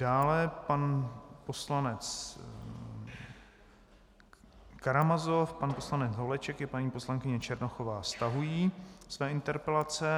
Dále pan poslanec Karamazov, pan poslanec Holeček i paní poslankyně Černochová stahují své interpelace.